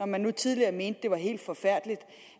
man nu tidligere mente at det var helt forfærdeligt